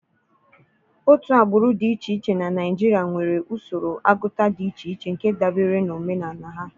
Otu agbụrụ dị iche iche na Naijiria nwere usoro agụta dị iche iche nke dabere na omenala ha.